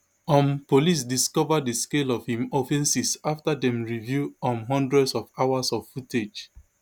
um police discover di scale of im offences afta dem review um hundreds of hours of footage